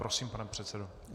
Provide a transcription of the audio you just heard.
Prosím, pane předsedo.